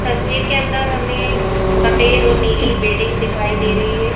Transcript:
तस्वीर के अंदर हमें सफेद और नीली बिल्डिंग दिखाई दे रही है।